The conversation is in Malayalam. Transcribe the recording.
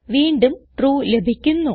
വീണ്ടും ട്രൂ ലഭിക്കുന്നു